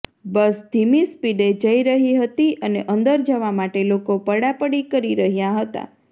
બસ ધીમી સ્પીડે જઈ રહી હતી અને અંદર જવા માટે લોકો પડાપડી કરી રહ્યા હતા